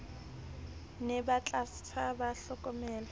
ne ba tlasala ba hlokomelwa